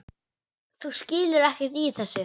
Þú skilur ekkert í þessu.